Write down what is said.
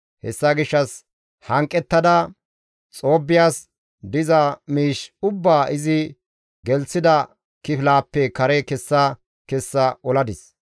Hessa gishshas hanqettada Xoobbiyas diza miish ubbaa izi gelththida kifilaappe kare kessa kessa oladis.